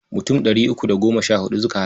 Mutum ɗari uku da goma sha huɗu suka halarta.